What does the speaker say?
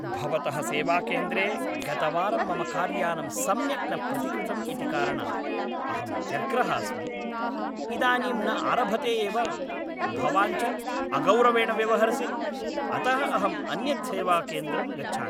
भवतः सेवाकेन्द्रे गतवारं मम कार्यानं सम्यक् न प्रतिकृतम् इति कारणात् अहं व्यग्रः अस्मि, इदानीं न आरभते एव, भवान् च अगौरवेण व्यवहरसि, अतः अहम् अन्यत् सेवाकेन्द्रं गच्छामि।